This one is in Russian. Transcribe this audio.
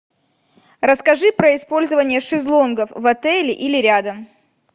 расскажи про использование шезлонгов в отеле или рядом